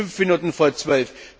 Es ist fünf Minuten vor Zwölf!